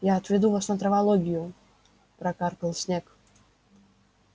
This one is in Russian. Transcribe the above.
я отведу вас на травологию прокаркал снегг